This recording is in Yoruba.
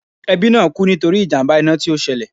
Ẹbí náà kú nítorí ìjàmbá iná tí ó ṣẹlẹ̀